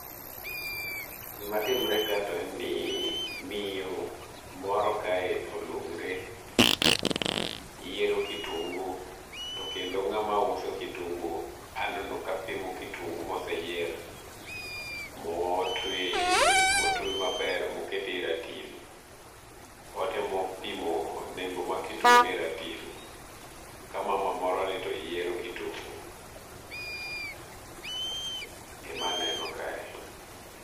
Gima timore ka to en ni miyo moro kae olung're yiero kitungu to kendo ng'ama uso kitungu aneno kapimo kitungu mose yier motwe maber moket e ratil otemo pimo nengo mar kitungu e ratil ka mama moroni to yiero kitungu ema neno kae